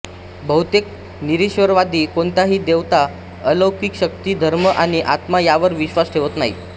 बहुतेक निरीश्वरवादी कोणत्याही देवता अलौकिक शक्ती धर्म आणि आत्मा यावर विश्वास ठेवत नाहीत